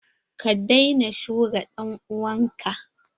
Ka daina shura dan'uwan ka!